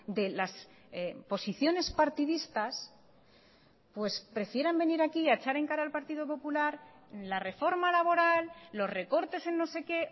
de las posiciones partidistas pues prefieran venir aquí a echar en cara al partido popular la reforma laboral los recortes en no sé que